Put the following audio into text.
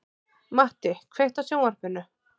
Matti, kveiktu á sjónvarpinu.